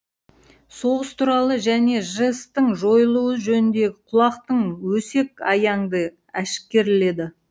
соғыс туралы және жэс тің жойылуы жөніндегі кулактық өсек аяңды әшкерледі